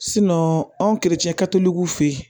anw fe yen